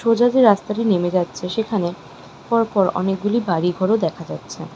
সোজা যে রাস্তাটি নেমে যাচ্ছে সেখানে পরপর অনেকগুলি বাড়িঘরও দেখা যাচ্ছে।